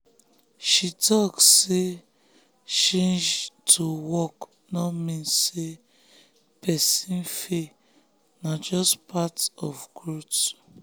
she talk say change to work no mean say person fail na just part of growth.